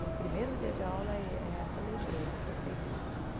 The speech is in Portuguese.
E o primeiro dia de aula é é essa lembrança que eu tenho dela.